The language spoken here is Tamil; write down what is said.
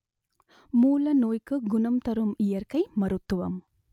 மூல நோய்க்கு குணம் தரும் இயற்கை மருத்துவம்